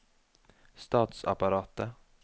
statsapparatet